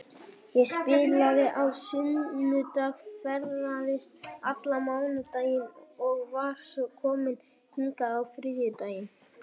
Ég spilaði á sunnudag, ferðaðist allan mánudaginn og var svo komin hingað á þriðjudaginn.